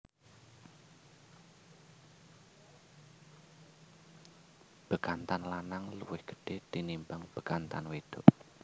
Bekantan lanang luwih gedhe tinimbang bekantan wedok